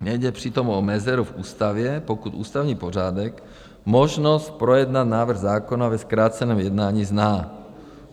Nejde přitom o mezeru v ústavě, pokud ústavní pořádek možnost projednat návrh zákona ve zkráceném jednání zná.